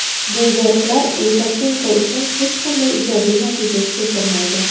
Bu yoriqlar Lukashenko uchun hech qanday ijobiy natija keltirmaydi.